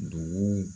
Dugu